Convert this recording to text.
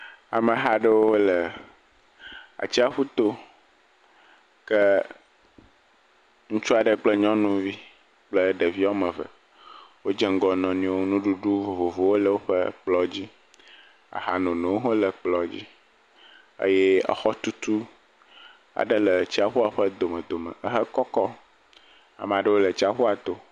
Ameha aɖewo le atsiaƒuto. Ke ŋutsu aɖe kple nyɔnuvi kple ɖevi woame ve wodze ŋgɔ wo nɔnɔewo. Nuɖuɖu vovovowo le woƒe kplɔ̃dzi. Ahanonowo hã le kplɔ̃dzi. ee exɔtutu aɖe le atsiaƒua ƒe domedome ehe kɔkɔ. Amaa ɖewo le atsiaƒua to.